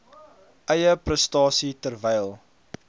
eie prestasie terwyl